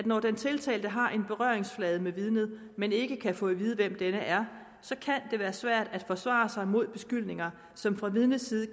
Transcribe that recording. når den tiltalte har en berøringsflade med vidnet men ikke kan få at vide hvem vidnet er være svært at forsvare sig mod beskyldninger som fra vidnets side